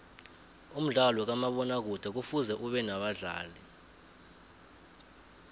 umdlalo kamabona kude kufuze ubenabadlali